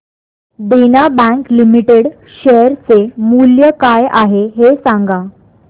देना bank limited share चे मूल्य काय आहे हे सांगा